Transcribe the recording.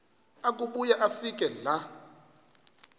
akubuya afike laa